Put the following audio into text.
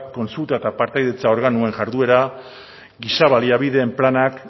kontsulta eta partaidetza organoen jarduera giza baliabideen planak